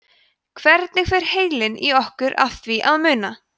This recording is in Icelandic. hvernig fer heilinn í okkur að því að muna